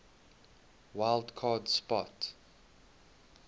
wild card spot